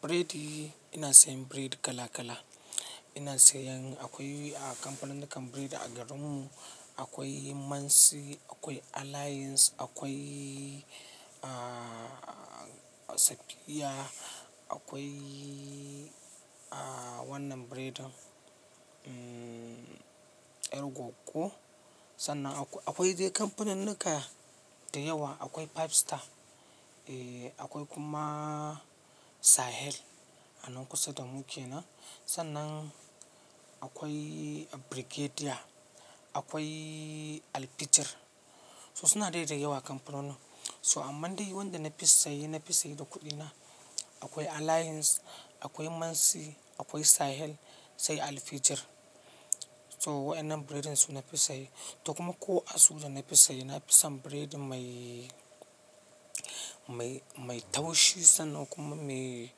Buredi, ina sayan buredi kala kala. Ina sayan akwai a kamfaninnukan buredi a garin mu, akwai Mansi, akwai Alliance, akwai, ah, Safiya, akwai, ah, wannan biredin, mmh, Ergo ko. Sannan akwai dai kamfaninnuka da yawa, akwai Five Star, eh, akwai kuma Sahel a nan kusa da muke nan. Sannan akwai Brigedia, akwai Alfitir. Suna dai da yawa kamfanonin. Toglh amma dai wanda na fi saye, na fi saye da kuɗina, akwai Alliance, akwai Mansi, akwai Sahel sai Alfitir. Toh wayannan buredin su na fi saye. Toh kuma ko a su da na fi saye, na fi son buredin mai, mai, mai taushi sannan kuma mai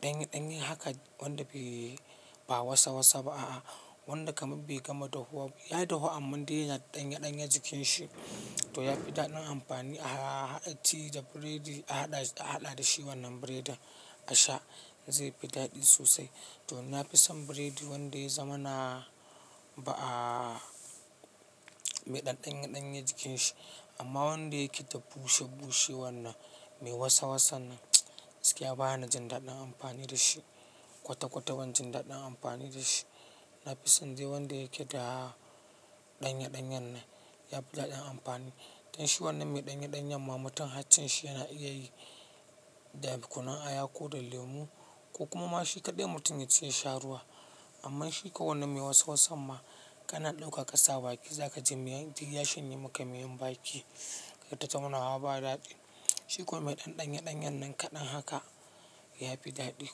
ɗanye-ɗanye haka wanda bai ba wasa wasa ba, a a. Wanda kamar bai gama dahuwa ba, ya dahu amma dai yana ɗanye ɗanye cikin shi to ya fi daɗin amfani aha a ha, in ci da biredi a haɗa, a haɗa da shi wannan biredin a sha zai fi daɗi sosai. To na fi son biredin wanda zamana ba ah, me ɗan ɗanye-ɗanye jikin shi. Amma wanda yake ta bushe-bushe wannan, mai wasa wasan nan, gaskiya ban jin daɗin amfani da shi kwata-kwata ban jin daɗin amfani da shi. Na fi son dai wanda yake da ɗanye-ɗanye nan ya fi daɗin amfani. Dan shi wannan mai ɗanye-ɗanye ma mutum har cin shi yana iya yi da kunun aya ko da lemu ko kuma ma shi kaɗai mutum ya ci ya sha ruwa. Amma shi kawanne mai wasa wasan ma kana ɗauka ƙasa baki za ka ji miyan, duk ya shanye maka miyan baki, kaita taunawa ba daɗi. Shi kuwa mai ɗan ɗanye-ɗanye nan kaɗan haka ya fi daɗi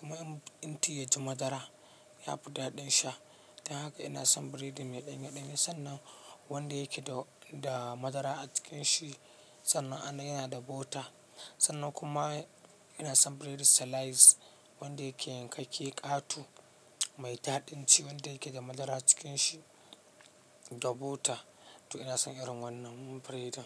kuma in Tea yaji madara ya fi daɗin sha. Dan haka ina son biredin mai ɗanye-ɗanye sannan wanda yake da, da madara a cikin shi, sannan anan yana da butter. Sannan kuma ina son biredin slice wanda yankakke ƙato mai daɗin ci wanda yake da madara a cikin shi da butter. To ina son irin wannan biredin.